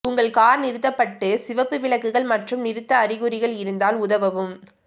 உங்கள் கார் நிறுத்தப்பட்டு சிவப்பு விளக்குகள் மற்றும் நிறுத்த அறிகுறிகள் இருந்தால் உதவவும்